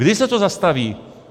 Kdy se to zastaví?